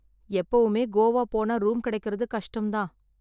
எப்பவுமே கோவா போனா ரூம் கெடைக்கருது கஷ்டம்தான்.